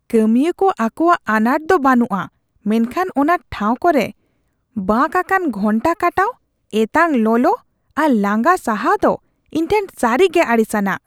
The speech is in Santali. ᱠᱟᱹᱢᱤᱭᱟᱹ ᱠᱚ ᱟᱠᱚᱣᱟᱜ ᱟᱱᱟᱴ ᱫᱚ ᱵᱟᱹᱱᱩᱜᱼᱟ, ᱢᱮᱱᱠᱷᱟᱱ ᱚᱱᱟ ᱴᱷᱟᱶ ᱠᱚᱨᱮ ᱵᱟᱸᱠ ᱟᱠᱟᱱ ᱜᱷᱚᱱᱴᱟ ᱠᱟᱴᱟᱣ, ᱮᱛᱟᱜ ᱞᱚᱞᱚ ᱟᱨ ᱞᱟᱸᱜᱟ ᱥᱟᱦᱟᱣ ᱫᱚ ᱤᱧᱴᱷᱮᱱ ᱥᱟᱹᱨᱤᱜᱮ ᱟᱹᱲᱤᱥ ᱟᱱᱟᱜ ᱾